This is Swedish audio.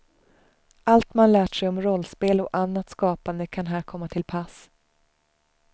Allt man lärt sig om rollspel och annat skapande kan här komma till pass.